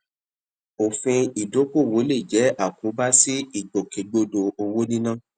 òfin ìdókòwò lè jẹ àkóbá sí ìgbòkègbodò owó níná